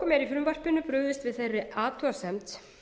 frumvarpinu brugðist við þeirri athugasemd